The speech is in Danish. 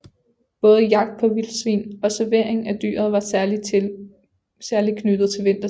Både jagt på vildsvin og servering af dyret var særlig knyttet til vintertiden